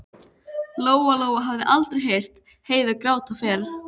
Lóa-Lóa hafði aldrei heyrt Heiðu gráta fyrr.